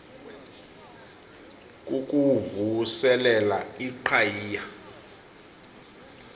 kukuvu selela iqhayiya